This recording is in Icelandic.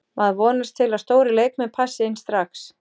Maður vonast til að stórir leikmenn passi inn strax.